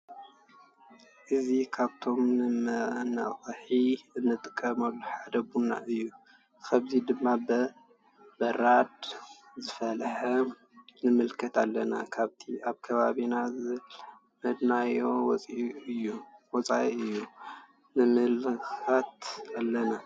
እዚ ካብቶም ንመነቅሒ እንጥቀመሎም ሓደ ቡና እዩ አብዚ ድማ በ በራድ ዝፈለሐ ንምለከት ኣለና ።ካብቲ አብ ከባቢና ዝለመድናዮ ወፃኢ እዩ ንምልከት ኣለና?